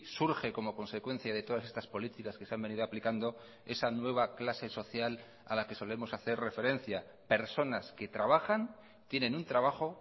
surge como consecuencia de todas estas políticas que se han venido aplicando esa nueva clase social a la que solemos hacer referencia personas que trabajan tienen un trabajo